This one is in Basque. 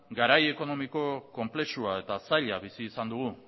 garai ekonomiko konplexua eta zaila bizi izan dugu